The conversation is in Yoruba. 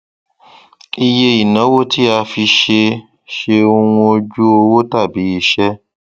iye ìnáwó tí a fi ṣe ṣe ohun ojú owó tàbí iṣẹ